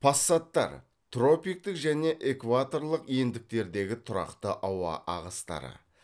пассаттар тропиктік және экваторлық ендіктердегі тұрақты ауа ағыстары